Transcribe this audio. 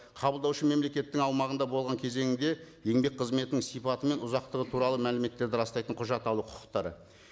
қабылдаушы мемлекеттің аумағында болған кезеңінде еңбек қызметінің сипаты мен ұзақтығы туралы мәліметтерді растайтын құжат алу құқықтары